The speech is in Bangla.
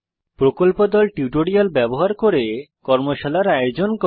প্রকল্প দল টিউটোরিয়াল ব্যবহার করে কর্মশালার আয়োজন করে